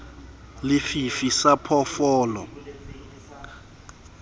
le fifi sa phoofolo e